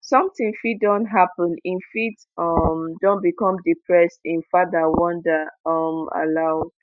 sometin fit don happen im fit um don become depressed im father wonder um aloud